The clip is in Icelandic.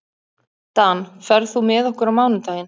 Dan, ferð þú með okkur á mánudaginn?